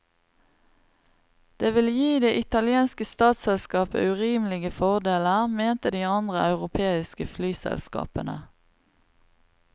Det ville gi det italienske statsselskapet urimelige fordeler, mente de andre europeiske flyselskapene.